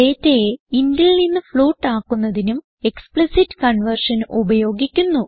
ഡേറ്റയെ intൽ നിന്ന് ഫ്ലോട്ട് ആക്കുന്നതിനും എക്സ്പ്ലിസിറ്റ് കൺവേർഷൻ ഉപയോഗിക്കുന്നു